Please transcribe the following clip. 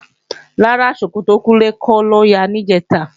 Rárá, ṣòkòtò Kúnlé kọ́ ló ya níjẹ̀ta